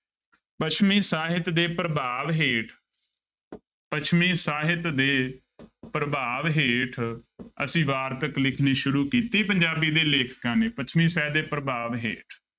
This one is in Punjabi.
ਪੱਛਮੀ ਸਾਹਿਤ ਦੇ ਪ੍ਰਭਾਵ ਹੇਠ ਪੱਛਮੀ ਸਾਹਿਤ ਦੇ ਪ੍ਰਭਾਵ ਹੇਠ ਅਸੀਂ ਵਾਰਤਕ ਲਿਖਣੀ ਸ਼ੁਰੂ ਕੀਤੀ ਪੰਜਾਬੀ ਦੇ ਲੇਖਕਾਂ ਨੇ, ਪੱਛਮੀ ਸਾਹਿਤ ਦੇ ਪ੍ਰਭਾਵ ਹੇਠ।